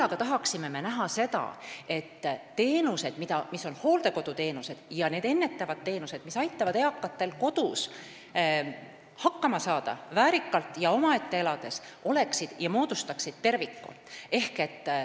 Me tahaksime näha ka seda, et hooldekoduteenused ja ennetavad teenused, mis aitavad eakatel kodus hakkama saada väärikalt ja omaette elades, moodustaksid terviku.